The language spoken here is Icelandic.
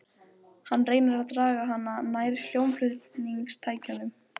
Hann reynir að draga hana nær hljómflutningstækjunum.